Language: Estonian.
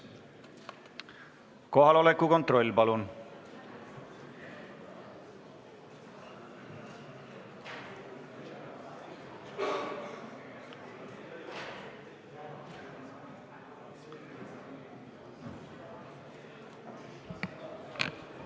Kohaloleku kontroll, palun!